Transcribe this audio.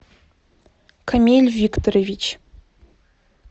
камиль викторович